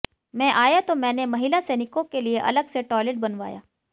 मैं आया तो मैंने महिला सैनिकों के लिए अलग से टॉयलेट बनवाया